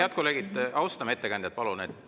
Head kolleegid, palun austame ettekandjat.